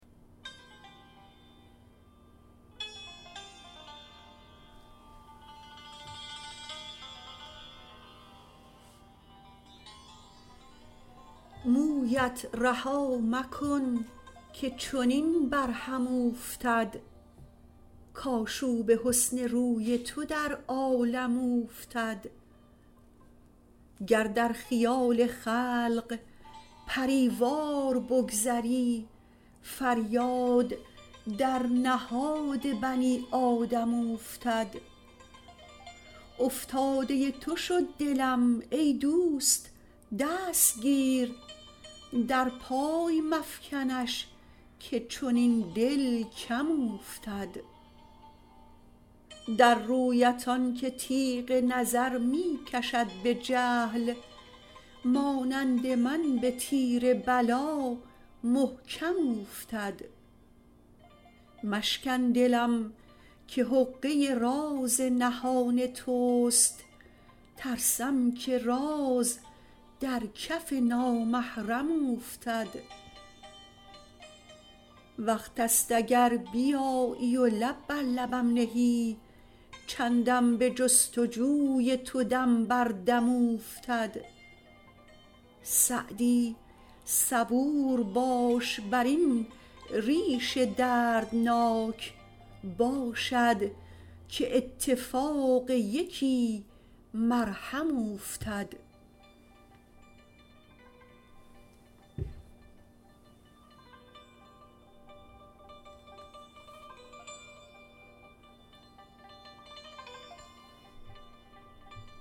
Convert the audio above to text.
مویت رها مکن که چنین بر هم اوفتد کآشوب حسن روی تو در عالم اوفتد گر در خیال خلق پری وار بگذری فریاد در نهاد بنی آدم اوفتد افتاده تو شد دلم ای دوست دست گیر در پای مفکنش که چنین دل کم اوفتد در رویت آن که تیغ نظر می کشد به جهل مانند من به تیر بلا محکم اوفتد مشکن دلم که حقه راز نهان توست ترسم که راز در کف نامحرم اوفتد وقت ست اگر بیایی و لب بر لبم نهی چندم به جست و جوی تو دم بر دم اوفتد سعدی صبور باش بر این ریش دردناک باشد که اتفاق یکی مرهم اوفتد